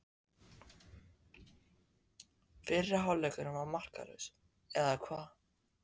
Fyrri hálfleikurinn var markalaus, eða hvað?